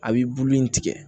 A b'i bulu in tigɛ